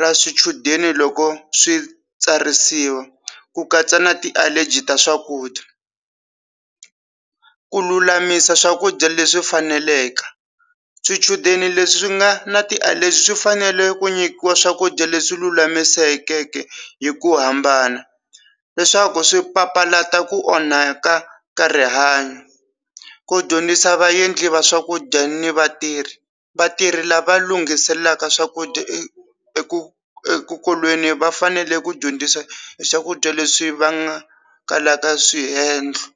ra swichudeni loko swi tsarisiwa ku katsa na ti allergy ta swakudya ku lulamisa swakudya leswi faneleke swichudeni leswi nga na ti allergy swifanele ku nyikiwa swakudya leswi lulamisekeke hi ku hambana leswaku swi papalata ku onhaka ka rihanyo ko dyondzisa vaendli va swakudya ni vatirhi vatirhi lava lunghiselelaka swakudya eku exikolweni va fanele ku dyondzisa hi swakudya leswi va nga kalaka swihenhlo.